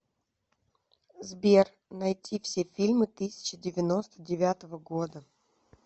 сбер найти все фильмы тысяча девяносто девятого года